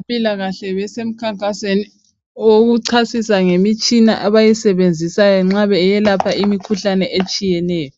Abezempilakahle basemkhankasweni owokuchasisa ngemitshina abayisebenzisayo nxa beyelapha imikhuhlane etshiyeneyo,